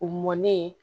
U mɔnnen